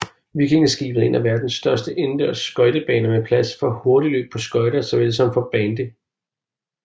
Vikingskipet er en af verdens største indendørs skøjtebaner med plads for hurtigløb på skøjter såvel som for bandy